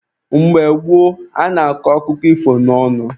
Mgbe gboo, a na-akọ akụkọ ifo n'ọnụ.